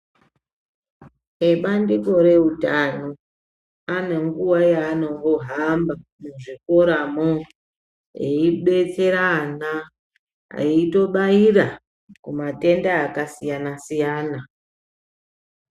Ebandiko reutano anenguwa yaanombohamba muzvikoramo veidetsera ana, eitobaira kumatenda akasiyana-siyana.